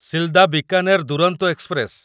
Silda Bikaner Duronto express